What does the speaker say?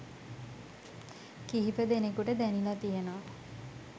කිහිපදෙනෙකුට දැනිලා තියෙනවා.